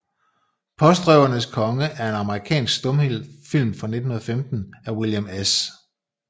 Postrøvernes Konge er en amerikansk stumfilm fra 1915 af William S